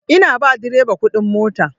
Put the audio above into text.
Ina ba direba kuɗin mota.